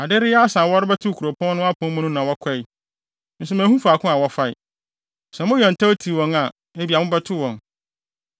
Ade reyɛ asa a wɔrebɛtoto kuropɔn no apon mu no na wɔkɔe, nso manhu faako a wɔfae. Sɛ moyɛ ntɛm tiw wɔn a, ebia, mobɛto wɔn.”